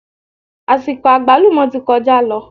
Àsìkò àgbálùmọ́ ti kọjá lọ